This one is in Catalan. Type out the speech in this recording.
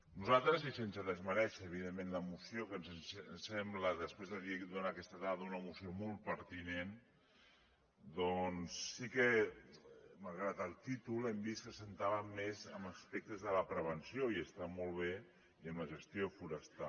nosaltres i sense desmerèixer evidentment la moció que ens sembla després de donar aquesta dada una moció molt pertinent doncs sí que malgrat el títol hem vist que es centrava més en aspectes de la preven·ció i està molt bé i en la gestió forestal